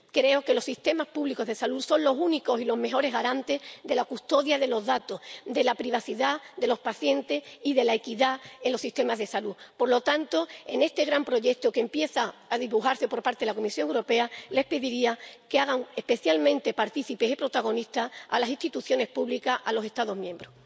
Creo que los sistemas públicos de salud son los únicos y los mejores garantes de la custodia de los datos, de la privacidad de los pacientes y de la equidad en los sistemas de salud. Por lo tanto, en este gran proyecto que empieza a dibujarse por parte de la Comisión Europea, les pediría que hagan especialmente partícipes y protagonistas a las instituciones públicas, a los Estados miembros.